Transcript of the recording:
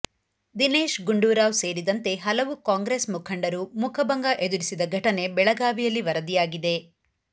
ದಿನೇಶ್ ಗುಂಡೂರಾವ್ ಸೇರಿದಂತೆ ಹಲವು ಕಾಂಗ್ರೆಸ್ ಮುಖಂಡರು ಮುಖಭಂಗ ಎದುರಿಸಿದ ಘಟನೆ ಬೆಳಗಾವಿಯಲ್ಲಿ ವರದಿಯಾಗಿದೆ